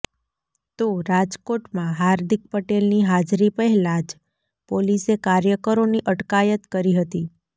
તો રાજકોટમાં હાર્દિક પટેલની હાજરી પહેલા જ પોલીસે કાર્યકરોની અટકાયત કરી હતી